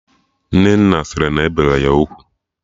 Nnenna sị na e bere ya ugwu